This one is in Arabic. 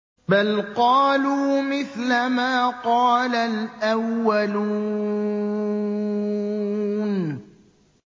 بَلْ قَالُوا مِثْلَ مَا قَالَ الْأَوَّلُونَ